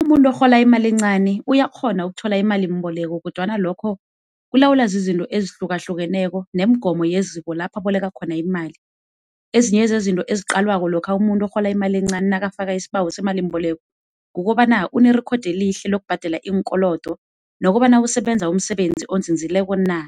Umuntu orhola imali encani uyakghona ukuthola imalimboleko kodwana lokho kulawulwa izizinto ezihlukahlukeneko nemigomo yeziko lapha aboleka khona imali. Ezinye zezinto ziqalwako lokha umuntu orhola imali encani nakafaka isibawo semalimboleko, kukobana unerekhodi elihle lokubhadela iinkolodo nokobana usebenza umsebenzi onzinzileko na,